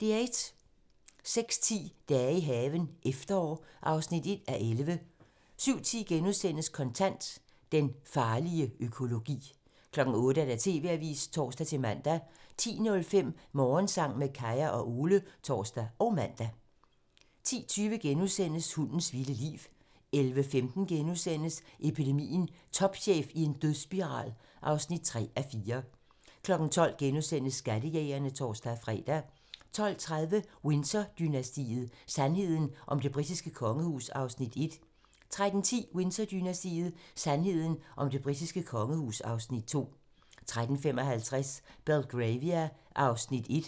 06:10: Dage i haven – efterår (1:11) 07:10: Kontant: Den farlige økologi * 08:00: TV-avisen (tor-man) 10:05: Morgensang med Kaya og Ole (tor og man) 10:20: Hundens vilde liv * 11:15: Epidemien - Topchef i en dødsspiral (3:4)* 12:00: Skattejægerne *(tor-fre) 12:30: Windsor-dynastiet: Sandheden om det britiske kongehus (Afs. 1) 13:10: Windsor-dynastiet: Sandheden om det britiske kongehus (Afs. 2) 13:55: Belgravia (1:6)